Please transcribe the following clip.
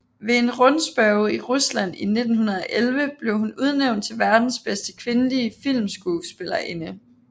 Ved en rundspørge i Rusland i 1911 blev hun udnævnt til verdens bedste kvindelige filmskuespillerinde